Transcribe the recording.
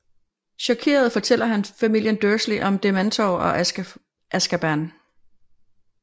Chokeret fortæller han familien Dursley om Dementorer og Azkaban